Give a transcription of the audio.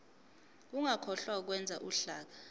ungakhohlwa ukwenza uhlaka